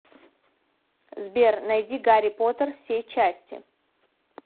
сбер найди гарри поттер все части